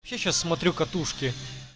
сейчас смотрю катушки